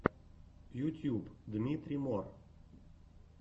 ютьюб дмитрий мор